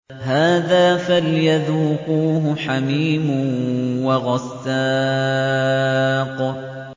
هَٰذَا فَلْيَذُوقُوهُ حَمِيمٌ وَغَسَّاقٌ